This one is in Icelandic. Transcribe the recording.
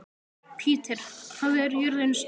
Petter, hvað er jörðin stór?